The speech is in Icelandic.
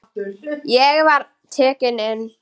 Ég var tekinn inn.